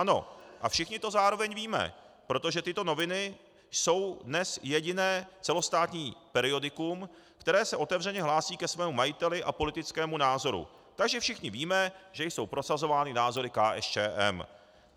Ano, a všichni to zároveň víme, protože tyto noviny jsou dnes jediné celostátní periodikum, které se otevřeně hlásí ke svému majiteli a politickému názoru, takže všichni víme, že jsou prosazovány názory KSČM.